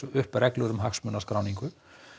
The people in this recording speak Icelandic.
upp reglur um hagsmunaskráningu